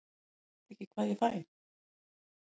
Ég veit ekki hvað ég fæ.